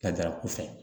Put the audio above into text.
Ka daraku fɛ